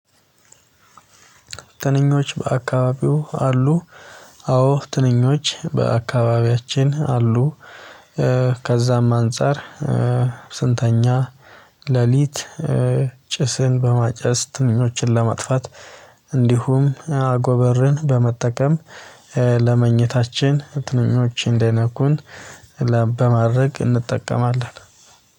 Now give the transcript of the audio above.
ትንኞች በአካባቢዋ አሉ። አዎ ትንኞች በአካባቢያችን አሉ። ከዛም አንፃር ስንተኛ ሌሊት። ጭስን በማጨስ ትንኞችን ለመጥፋት እንዲሁም አጎበርን በመጠቀም ለመኝታችን ትንኞች እንዳይነኩን በማድረግ እንጠቀማለን